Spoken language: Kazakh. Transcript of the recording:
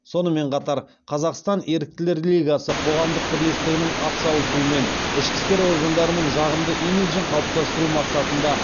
сонымен қатар қазақстан еріктілер лигасы қоғамдық бірлестігінің атсалысуымен ішкі істер органдарының жағымды имиджін қалыптастыру мақсатында